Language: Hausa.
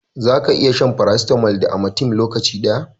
Za ka iya shan farasitamol da amatem lokaci daya